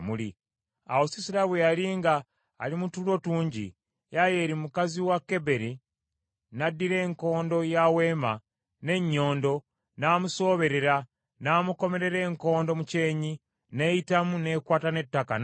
Awo Sisera bwe yali nga ali mu tulo tungi, Yayeeri mukazi wa Keberi n’addira enkondo ya weema n’ennyondo n’amusooberera n’amukomerera enkondo mu kyenyi, n’eyitamu n’ekwata n’ettaka n’afa.